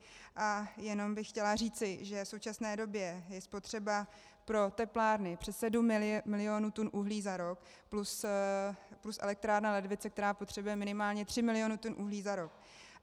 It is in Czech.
A jenom bych chtěla říci, že v současné době je spotřeba pro teplárny přes 7 milionů tun uhlí za rok, plus elektrárna Ledvice, která potřebuje minimálně 3 miliony tun uhlí za rok.